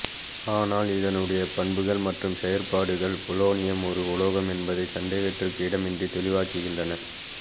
ஆனால் இதனுடைய பண்புகள் மற்றும் செயறபாடுகள் பொலோனியம் ஒரு உலோகம் என்பதை சந்தேகத்திற்கு இடமின்றி தெளிவாக்குகின்றன